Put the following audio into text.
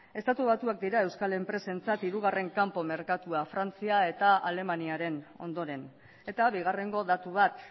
estatu batuak dira euskal enpresentzat hirugarren kanpo merkatua frantzia eta alemaniaren ondoren eta bigarrengo datu bat